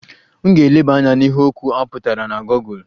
M ga-eleba anya n'ihe okwu a pụtara na Gọgụl